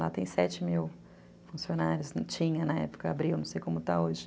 Lá tem sete mil funcionários, não tinha na época, abriu, não sei como está hoje.